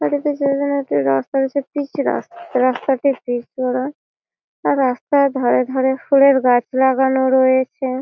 রাস্তা রয়েছে পিচ রাস্ রাস্তাটি পিচ করা আর রাস্তার ধারে ধারে ফুলের গাছ লাগানো রয়েছে।